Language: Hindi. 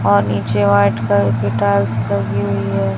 और नीचे व्हाइट कलर टाइल्स लगी हुई है।